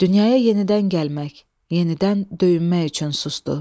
Dünyaya yenidən gəlmək, yenidən döyünmək üçün susdu.